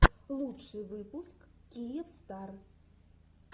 лучший выпуск киевстар